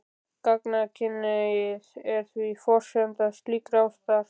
Gagnkynhneigð er því forsenda slíkrar ástar.